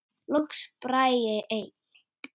Loks Bragi einn.